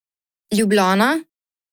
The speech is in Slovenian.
Ljubljana.